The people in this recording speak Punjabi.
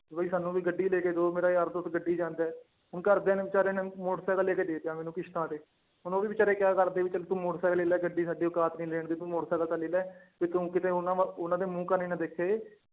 ਵੀ ਸਾਨੂੰ ਵੀ ਗੱਡੀ ਲੈ ਕੇ ਦਓ ਮੇਰਾ ਯਾਰ ਦੋਸਤ ਗੱਡੀ ਚ ਆਉਂਦਾ ਹੈ, ਹੁਣ ਘਰਦਿਆਂ ਨੇ ਬੇਚਾਰਿਆਂ ਨੇ ਮੋਟਰ ਸਾਇਕਲ ਲੈ ਕੇ ਦੇ ਦਿੱਤਾ ਮੈਨੂੰ ਕਿਸ਼ਤਾਂ ਤੇ ਹੁਣ ਉਹ ਵੀ ਬੇਚਾਰੇ ਕਿਆ ਕਰਦੇ ਵੀ ਚੱਲ ਤੂੰ ਮੋਟਰ ਸਾਇਕਲ ਲੈ ਲਾ ਗੱਡੀ ਸਾਡੀ ਓਕਾਤ ਨੀ ਲੈਣ ਦੀ ਤੂੰ ਮੋਟਰ ਸਾਇਕਲ ਤਾਂ ਲੈ ਲਾ, ਵੀ ਤੂੰ ਕਿਤੇ ਉਹਨਾਂ ਵੱਲ ਉਹਨਾਂ ਦੇ ਮੂੰਹ ਕੰਨੀ ਨਾ ਦੇਖੇ